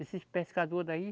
Esses pescador daí.